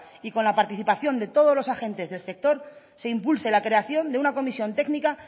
y con la participación de todos los agentes del sector se impulse la creación de una comisión técnica